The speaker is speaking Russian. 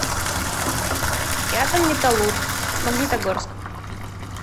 рядом металлург магнитогорск